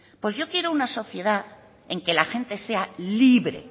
pues yo quiero una sociedad en que la gente sea libre